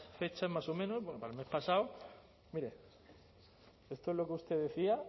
fechas más o menos bueno para el mes pasado mire esto es lo que usted decía